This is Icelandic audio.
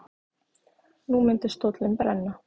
Nú myndi stóllinn brenna.